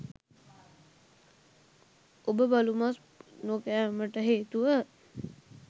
ඔබ බලු මස් නොකෑමට හේතුව